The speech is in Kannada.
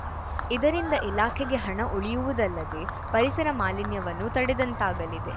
ಇದರಿಂದ ಇಲಾಖೆಗೆ ಹಣ ಉಳಿಯುವುದಲ್ಲದೆ ಪರಿಸರ ಮಾಲಿನ್ಯವನ್ನೂ ತಡೆದಂತಾಗಲಿದೆ